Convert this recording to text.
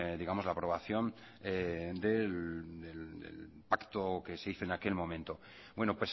digamos la aprobación del pacto que se hizo en aquel momento bueno